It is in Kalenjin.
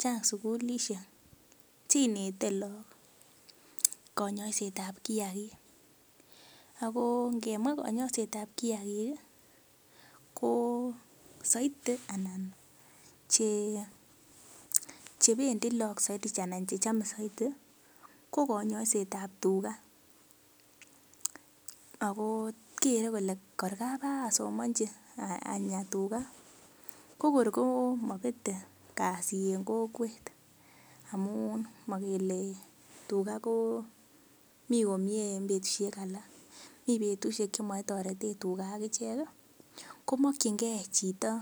chang sukulisiek chenete look konyoiset ab kiagik ako ngemwaa konyoiset ab kiagik ih ko soiti anan che chebendii look soiti anan chechome soiti ko konyoiset ab tuga ako kere kole kor kabosomonji anyaa tuga ko kor ko mobete kasit en kokwet amun mokele tuga ko mii komie en betusiek alak mii betusiek chemoe tuga ak ichek ih komokyingee chito